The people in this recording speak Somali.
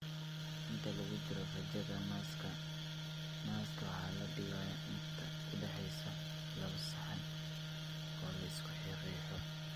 Inta lagu jiro raajada naaska, naaska waxa la dhigayaa inta u dhaxaysa laawo saxan oo la isku riixo.